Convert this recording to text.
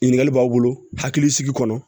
Ɲininkali b'aw bolo hakilisigi kɔnɔ